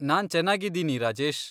ನಾನ್ ಚೆನ್ನಾಗಿದ್ದೀನಿ, ರಾಜೇಶ್.